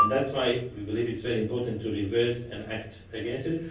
That is why we believe it is very important to reverse this and act against it.